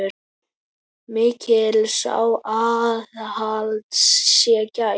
Mikils aðhalds sé gætt.